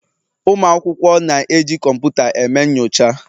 Ụmụ akwụkwọ na-eji kọmputa eme nyocha.